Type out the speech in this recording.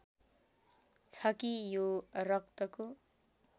छ कि यो रक्तको